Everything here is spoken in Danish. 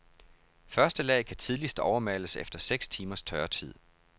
Første lag kan tidligst overmales efter seks timers tørretid.